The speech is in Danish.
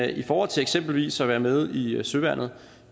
i forhold til eksempelvis at være med i søværnet